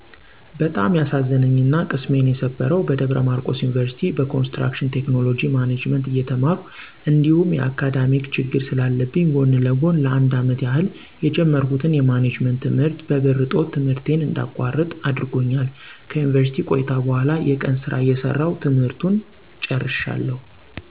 በጣም ያሳዘነኝና ቅስሜን የሰበረው በደብረማርቆስ ዩኒቭርሲቲ በኮንስትራክሽን ቴክኖሎጅ ማኔጅመንት እየተማርሁ እንዲሁም የአካዳሜክ ችግር ስለለብኝ ጎን ለጎን ለ፩አመት ያህል የጀመርሁትን የማኔጅመንት ት/ት በብር እጦት ት/ቴን እንዳቋርጥ አድርጎኛል። ከዩኒቭርስሲቲ ቆይታ በኋላ የቀን ስራ እየሰራሁ ት/ቱን ጨርሸዋለሁ።